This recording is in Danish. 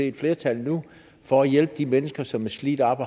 et flertal nu for at hjælpe de mennesker som er slidt op